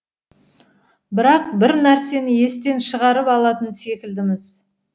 бірақ бір нәрсені естен шығарып алатын секілдіміз